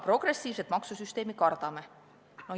Progressiivset maksusüsteemi me kardame.